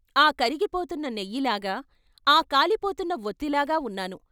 ఆకరిగిపోతున్న నెయ్యిలాగా, ఆ కాలిపోతున్న వొత్తిలాగా ఉన్నాను.